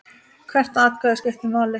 Hvert atkvæði skiptir máli.